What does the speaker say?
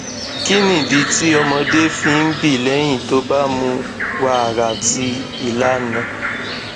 kí nìdí tí ọmọdé fi ń bi lẹyìn tó bá mu wàrà tí ilana